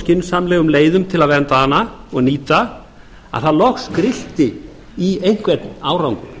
skynsamlegum leiðum til að vernda hana og nýta að það loks grillti í einhvern árangur